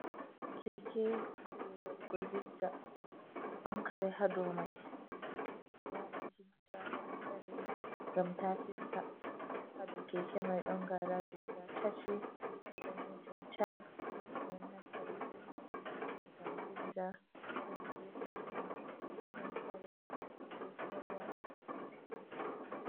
Keke je waɗugo zixza ɗon kare ha dou mai, ɓeɗo waɗa zigza kare gam ta fista ha dou keke mai ɗon garaji guda tati danejum tal ɓeɗo naftira be mai gam zigza hed gefetoma ɗon kare be korowal.